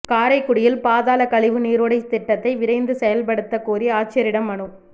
காரைக்குடியில் பாதாள கழிவு நீரோடை திட்டத்தை விரைந்து செயல்படுத்தக் கோரி ஆட்சியரிடம் மனு